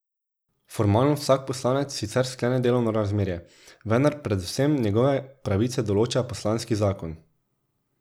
Formalno vsak poslanec sicer sklene delovno razmerje, vendar predvsem njegove pravice določa poslanski zakon.